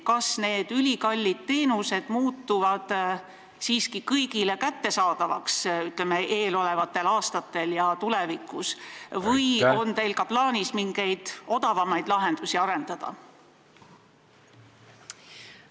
Kas need ülikallid teenused muutuvad eelolevatel aastatel siiski kõigile kättesaadavaks või on teil plaanis ka mingeid odavamaid lahendusi arendada?